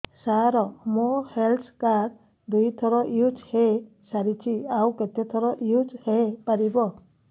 ସାର ମୋ health card ଦୁଇ ଥର ୟୁଜ଼ ହୈ ସାରିଛି ଆଉ କେତେ ଥର ୟୁଜ଼ ହୈ ପାରିବ